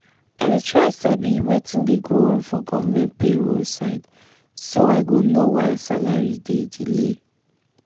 i dey try sabi wetin dey go on for government payroll side so i go know why salary dey delay.